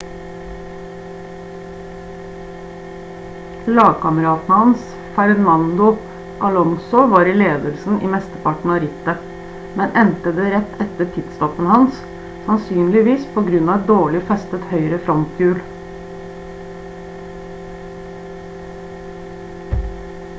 lagkameraten hans fernando alonso var i ledelsen i mesteparten av rittet men endte det rett etter pit-stoppen hans sannsynligvis på grunn av et dårlig festet høyre fronthjul